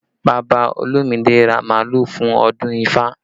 Bàbá Olumide ra màálù fún ọdún ifá